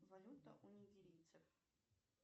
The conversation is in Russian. валюта у нигерийцев